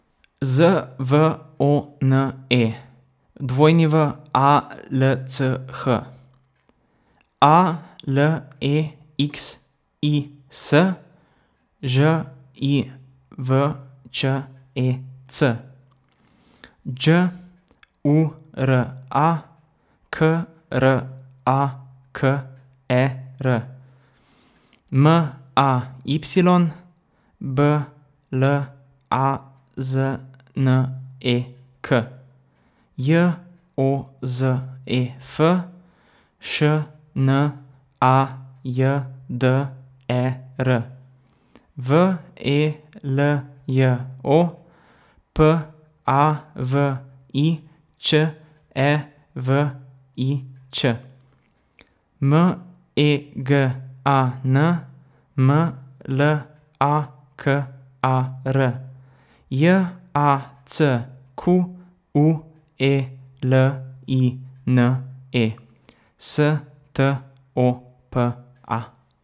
Z V O N E, W A L C H; A L E X I S, Ž I V Č E C; Đ U R A, K R A K E R; M A Y, B L A Z N E K; J O Z E F, Š N A J D E R; V E L J O, P A V I Ć E V I Ć; M E G A N, M L A K A R; J A C Q U E L I N E, S T O P A.